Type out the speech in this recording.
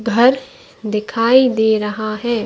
घर दिखाई दे रहा है।